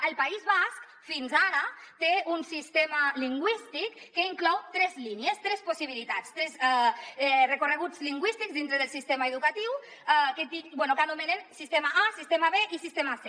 el país basc fins ara té un sistema lingüístic que inclou tres línies tres possibilitats tres recorreguts lingüístics dintre del sistema educatiu que anomenen sistema a sistema b i sistema c